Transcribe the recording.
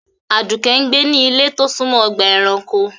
Aduke ń gbé ní ilé tó súnmọ́ ọgbà-ẹranko.